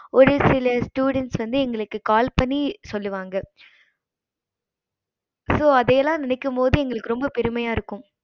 ஒரு சில students வந்து எங்களுக்கு call பண்ணி சொல்லுவாங்க so அதையெல்லாம் நினைக்கும் போது எங்களுக்கு ரொம்ப பெருமையா இருக்கும்